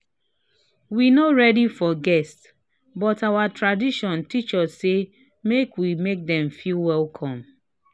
we no ready for guest but our tradition teach us say make we make dem feel welcome